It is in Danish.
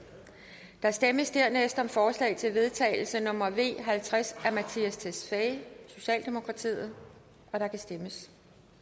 der stemmes dernæst om forslag til vedtagelse nummer v halvtreds af mattias tesfaye og der kan stemmes